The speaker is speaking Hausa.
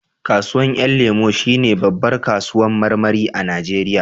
Kasuwan 'yan lemo shi ne babbar kasuwan marmari a najeriya